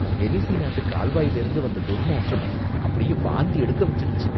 வெனிஸி நாட்டு கால்வாயிலேந்து வந்த துர்நாற்றம் அப்படியே வாந்தி எடுக்க வச்சிடுச்சு.